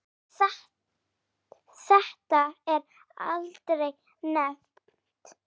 En þetta er aldrei nefnt.